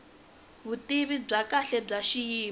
vutivi bya kahle bya xiyimo